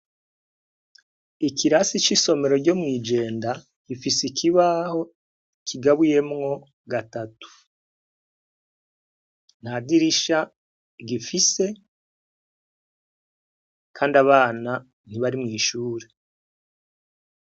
Ikirasi c'isomero ryo mw'Ijenda gifise ikibaho kigabuyemwo gatatu. Nta dirisha gifise kandi abana ntibari mw'ishure.